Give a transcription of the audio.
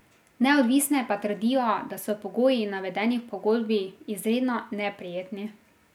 Neodvisne pa trdijo, da so pogoji, navedeni v pogodbi, izredno neprijetni.